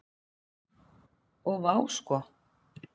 Og vá sko.